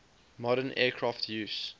modern aircraft use